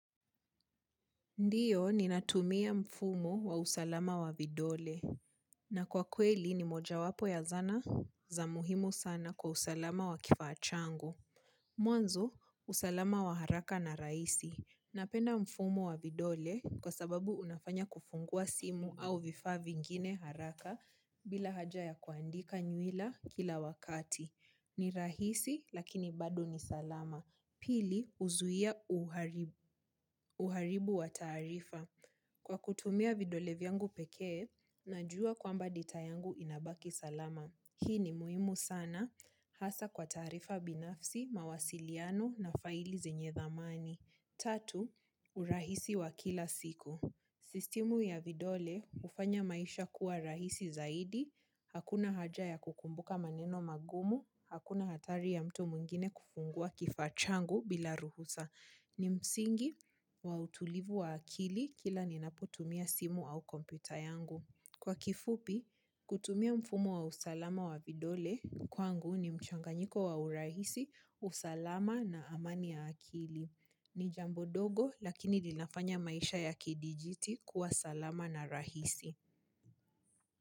Ndiyo, ninatumia mfumu wa usalama wa vidole. Na kwa kweli, ni moja wapo ya zana za muhimu sana kwa usalama wa kifaa changu. Mwanzo, usalama wa haraka na raisi. Napenda mfumu wa vidole kwa sababu unafanya kufungua simu au vifaa vingine haraka bila haja ya kuandika nyuila kila wakati. Ni rahisi, lakini bado ni salama. Pili huzuia uharibu wa taarifa. Kwa kutumia vidole vyangu pekee, najua kwamba data yangu inabaki salama. Hii ni muimu sana, hasa kwa taarifa binafsi, mawasiliano na faili zenye dhamani. Tatu, urahisi wa kila siku. Sistimu ya vidole, hufanya maisha kuwa rahisi zaidi, hakuna haja ya kukumbuka maneno magumu, hakuna hatari ya mtu mwingine kufungua kifaa changu bila ruhusa. Ni msingi wa utulivu wa akili kila ninapo tumia simu au kompyuta yangu. Kwa kifupi, kutumia mfumo wa usalama wa vidole kwangu ni mchanganyiko wa urahisi, usalama na amani ya akili. Ni jambo dogo lakini linafanya maisha ya kidijiti kuwa salama na rahisi.